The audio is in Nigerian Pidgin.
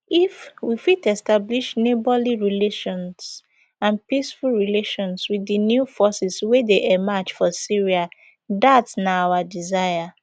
if we fit establish neighbourly relations and peaceful relations with di new forces wey dey emerge for syria dat na our desire